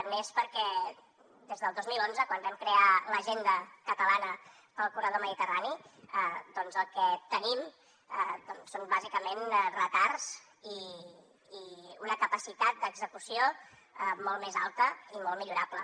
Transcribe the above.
n’és perquè des del dos mil onze quan vam crear l’agenda catalana per al corredor mediterrani el que tenim són bàsicament retards i una capacitat d’execució molt més alta i molt millorable